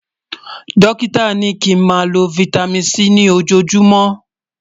Dókítà ní kí n má ló fìtámín C ní ojó júùmọ̀